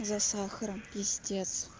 за сахаром пиздец